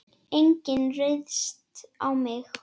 Enginn ryðst á mig.